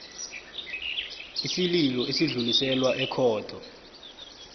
isililo esidluliselwa ekhotho